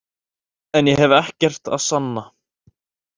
En ég hef ekkert að sanna.